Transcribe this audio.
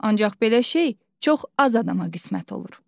Ancaq belə şey çox az adama qismət olur.